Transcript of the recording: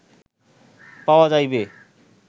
পাওয়া যাইবে